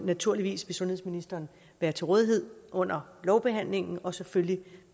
naturligvis vil sundhedsministeren være til rådighed under lovbehandlingen og vil selvfølgelig